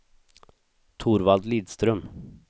Torvald Lidström